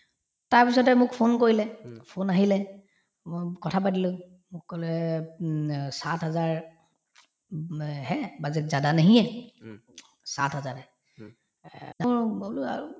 তাৰপিছতে মোক phone কৰিলে phone আহিলে মই কথা পাতিলো মোক কলে উম অ lang:Hindi>sat hazaar উম এ lang:Hindi>hai budget had nahi hair lang:Hindi>sat bazaar hair মই বোলো আৰু